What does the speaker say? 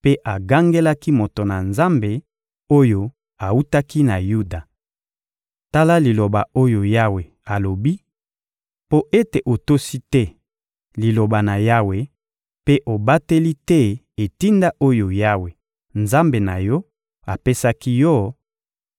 mpe agangelaki moto na Nzambe oyo awutaki na Yuda: — Tala liloba oyo Yawe alobi: «Mpo ete otosi te Liloba na Yawe mpe obateli te etinda oyo Yawe, Nzambe na yo, apesaki yo;